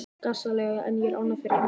Gasalega er ég ánægð fyrir hans hönd.